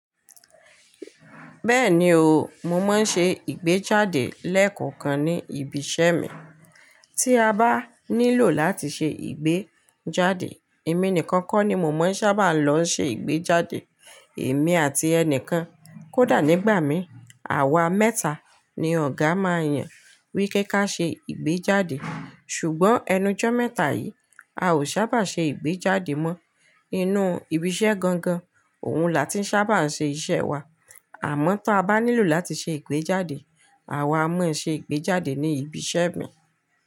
Bẹ́ẹ̀ni o, mo máa ń ṣe ìgbéjáde lẹ́ẹ̀kọ̀kan ní ibi iṣẹ́ mi. Tí a bá nílò láti ṣe ìgbéjáde, èmi nìkan kọ́ ni mo máa ń sábà lọ ṣe ìgbéjáde. Èmi àti ẹni kan, kódà nígbà mi, àwa mẹ́ta ni ọ̀gá máa yàn wípe ká ṣe ìgbéjáde. Ṣùgbọ́n ẹnu jọ́ mẹ́ta yìí, a ò sábà ṣe ìgbéjáde mọ. Inú ibi iṣẹ́ gangan, òun là tí ń sábà ṣe iṣẹ́ wa. Àmọ́ ta bá nílò láti ṣe ìgbéjáde, àwa a mọ ṣe ìgbéjáde ní ibi iṣẹ́ mi.